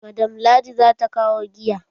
Madam ladi zata kawo wine.